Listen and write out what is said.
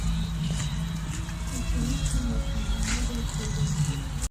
ученица мессинга новые серии